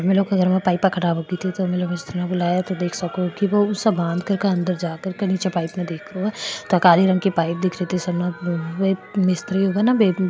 पाइप खराब होगी तो मिस्त्री न बुलायो देख सको --